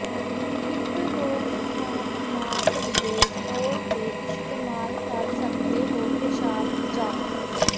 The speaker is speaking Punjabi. ਇਕ ਰੋਕਥਾਮ ਮਾਪ ਦੇ ਤੌਰ ਤੇ ਇਸਤੇਮਾਲ ਕਰ ਸਕਦੇ ਹੋ ਪੇਸ਼ਾਬ ਚਾਹ